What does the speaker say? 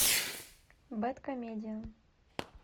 бэдкомедиан